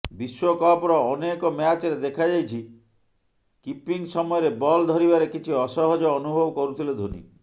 ବିଶ୍ବକପର ଅନେକ ମ୍ୟାଚରେ ଦେଖାଯାଇଛି କିପିଙ୍ଗ୍ ସମୟରେ ବଲ୍ ଧରିବାରେ କିଛି ଅସହଜ ଅନୁଭବ କରୁଥିଲେ ଧୋନି